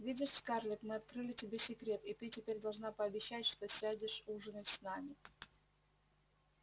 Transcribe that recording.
видишь скарлетт мы открыли тебе секрет и ты теперь должна пообещать что сядешь ужинать с нами